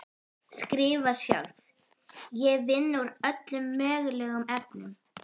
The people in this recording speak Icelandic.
Skrifar sjálf: Ég vinn úr öllum mögulegum efnum.